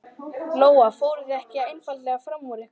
Lóa: Fóruð þið ekki einfaldlega fram úr ykkur?